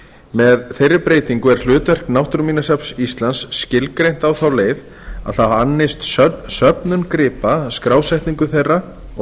með þeirri breytingu er hlutverk náttúruminjasafns íslands skilgreint á þá leið að það annist söfnun gripa skrásetningu þeirra og